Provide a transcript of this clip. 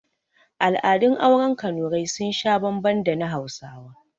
Al'adun auren kanurai sun sha bambam da na hausawa